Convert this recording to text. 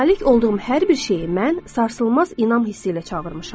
Malik olduğum hər bir şeyi mən sarsılmaz inam hissi ilə çağırmışam.